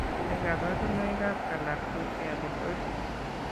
Nee kabarunoikab Galactosialidosis?